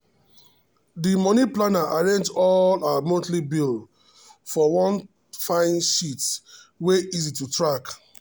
the money planner arrange all her monthly bill for one fine sheet wey easy to track.